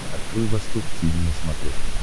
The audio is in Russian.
открой восток тиви на смотрешке